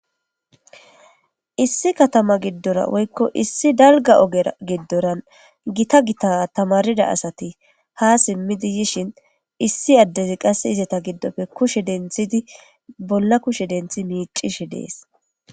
Issi katama giddora woykko issi dalga ogera giddoran gita gita tamaarida asati haa simiidi yishin issi addezi qasse izeta giddoppe kushe denthidi bolla kushe denthi miicishe de'es.